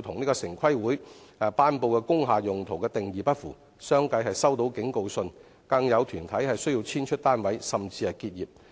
動與城市規劃委員會頒布的"工廈用途"的定義不符，相繼收到警告信，更有團體須遷出單位，甚至結業。